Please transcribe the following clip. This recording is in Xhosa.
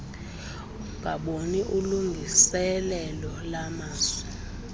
ungaboni ulungiseelelo lwamazwi